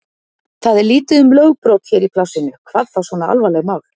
Það er lítið um lögbrot hér í plássinu, hvað þá svona alvarleg mál.